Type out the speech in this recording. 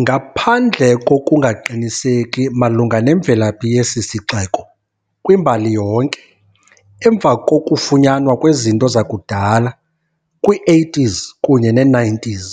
Ngaphandle kokungaqiniseki malunga nemvelaphi yesi sixeko kwimbali yonke, emva kokufunyanwa kwezinto zakudala zakudala kwi-80s kunye ne-90s,